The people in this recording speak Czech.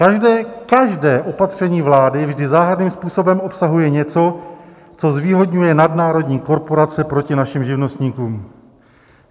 Každé, každé opatření vlády vždy záhadným způsobem obsahuje něco, co zvýhodňuje nadnárodní korporace proti našim živnostníkům.